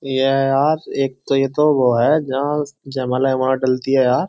ये है यार एक तो ये तो वो है जहां जयमाला वेयमाला डलती है यार।